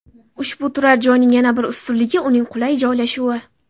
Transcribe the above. Ushbu turar joyning yana bir ustunligi uning qulay joylashuvi.